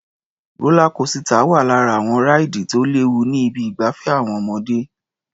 Rólá kosità wà lára àwọn ráìdì tí ò léwu ní ibi ìgbafẹ́ àwọn ọmọdé.